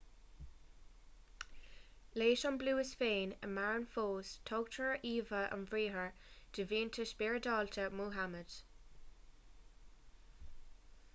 leis an bpluais féin a maireann fós tugtar íomhá an-bhríomhar do mhianta spioradálta muhammad